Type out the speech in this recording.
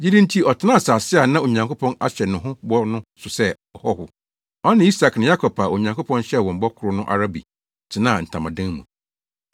Gyidi nti ɔtenaa asase a na Onyankopɔn ahyɛ no ho bɔ no so sɛ ɔhɔho. Ɔne Isak ne Yakob a Onyankopɔn hyɛɛ wɔn bɔ koro no ara bi tenaa ntamadan mu.